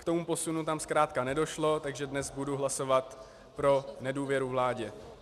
K tomu posunu tam zkrátka nedošlo, takže dnes budu hlasovat pro nedůvěru vládě.